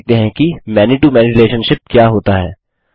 आगे देखते हैं कि many to मैनी रिलेशनशिप क्या होता है